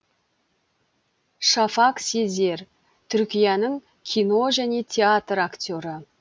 шафак сезер түркияның кино және театр актері